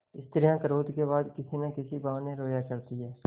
स्त्रियॉँ क्रोध के बाद किसी न किसी बहाने रोया करती हैं